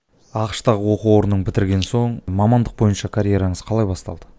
ақш та оқу орнын бітірген соң мамандық бойынша карьераңыз қалай басталды